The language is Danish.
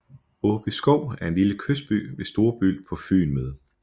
Åbyskov er en lille kystby ved Storebælt på Fyn med